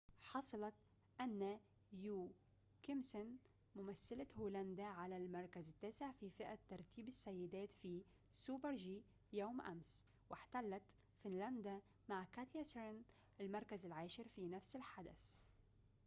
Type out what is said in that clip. حصلت آنا يوكيمسن ممثلة هولندا على المركز التاسع في فئة ترتيب السيدات في سوبر-جي يوم أمس واحتلت فنلندا مع كاتيا سارينن المركز العاشر في نفس الحدث